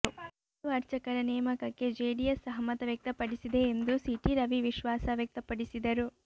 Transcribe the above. ಹಿಂದೂ ಅರ್ಚಕರ ನೇಮಕಕ್ಕೆ ಜೆಡಿಎಸ್ ಸಹಮತ ವ್ಯಕ್ತಪಡಿಸಿದೆ ಎಂದು ಸಿ ಟಿ ರವಿ ವಿಶ್ವಾಸ ವ್ಯಕ್ತಪಡಿಸಿದರು